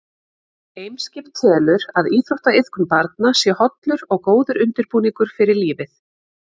Eimskip telur að íþróttaiðkun barna sé hollur og góður undirbúningur fyrir lífið.